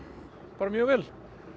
bara mjög vel